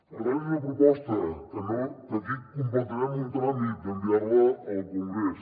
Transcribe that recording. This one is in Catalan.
per tant és una proposta que aquí completarem un tràmit d’enviar la al congrés